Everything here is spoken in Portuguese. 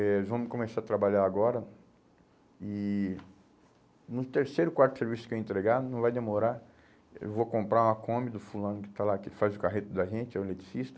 Eh vamos começar a trabalhar agora e no terceiro, quarto serviço que eu entregar, não vai demorar, eu vou comprar uma Kombi do fulano que está lá, que faz o carreto da gente, é o eletricista.